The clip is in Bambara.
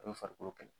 A bɛ farikolo kɛlɛ